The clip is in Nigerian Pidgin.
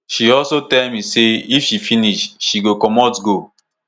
she also tell me say if she finish she go comot go